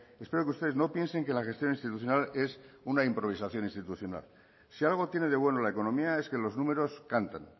espero que ustedes no piensen que la gestión institucional es una improvisación institucional si algo tiene de bueno la economía es que los números cantan